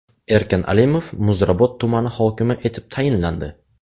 Erkin Alimov Muzrabot tumani hokimi etib tayinlandi.